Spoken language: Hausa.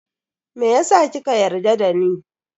Meyasa kika yarda dani?